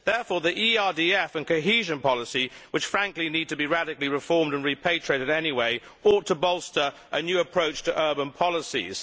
Therefore, the ERDF and cohesion policy, which frankly need to be radically reformed and repatriated anyway, ought to bolster a new approach to urban policies.